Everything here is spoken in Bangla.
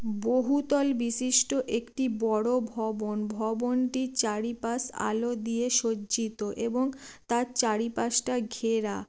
বহু তল বিশিষ্ট একটি বড়ো ভবন ভবনটির চারিপাশ আলো দিয়ে সজ্জিত এবং তার চারিপাশটা ঘেরা।